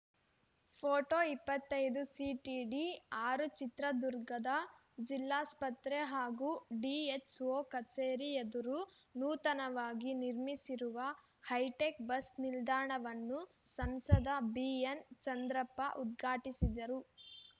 photo ಇಪ್ಪತ್ತೈದು CTD ಆರು ಚಿತ್ರದುರ್ಗದ ಜಿಲ್ಲಾಸ್ಪತ್ರೆ ಹಾಗೂ ಡಿಎಚ್‌ಒ ಕಚೇರಿ ಎದುರು ನೂತನವಾಗಿ ನಿರ್ಮಿಸಿರುವ ಹೈಟೆಕ್‌ ಬಸ್‌ ನಿಲ್ದಾಣವನ್ನು ಸಂಸದ ಬಿಎನ್‌ಚಂದ್ರಪ್ಪ ಉದ್ಘಾಟಿಸಿದರು